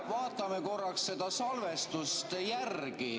Vaatame korraks salvestust.